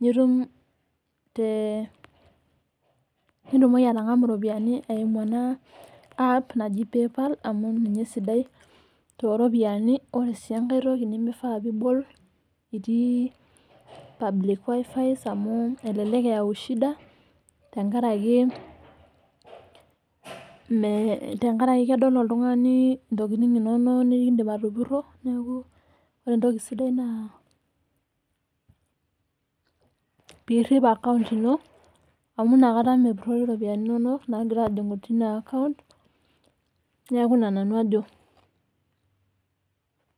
nitum te, nitumoki atang'amu iropiyiani eimu ena app naji PayPal amu ninye esidai tooropiyiani. Ore sii enkae toki nemifaa piibol itii public wifis amu elelek eyau tenkaraki kedol oltung'ani intokiting inono nekiindim atupurro. Neeku ore entoki sidai naa piirrip account ino metaa mepurrori iropiyiani inono naagira aajing'u teina account. Neeku ina nanu ajo